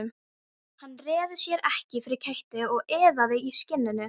Hann réði sér ekki fyrir kæti og iðaði í skinninu.